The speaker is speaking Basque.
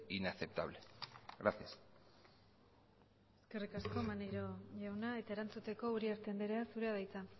inaceptable gracias eskerrik asko maneiro jauna eta erantzuteko uriarte andrea zurea da hitza